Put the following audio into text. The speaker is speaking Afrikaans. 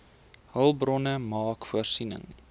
hulpbronne maak voorsiening